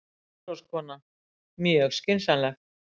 MATRÁÐSKONA: Mjög skynsamlegt.